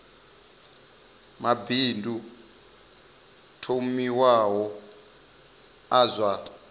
mabindu o thomiwaho a zwa